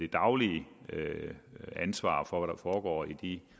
daglige ansvar for hvad der foregår i de